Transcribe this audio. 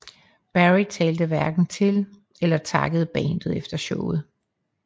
Berry talte hverken til eller takkede bandet efter showet